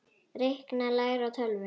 Reikna- læra á tölvur